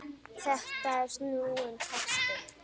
Þetta er snúinn texti.